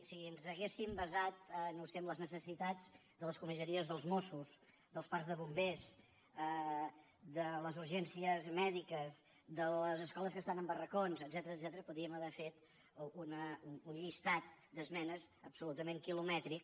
si ens haguéssim basat no ho sé en les necessitats de les comissaries dels mossos dels parcs de bombers de les urgències mèdiques de les escoles que estan en barracons etcètera podríem haver fet un llistat d’esmenes absolutament quilomètric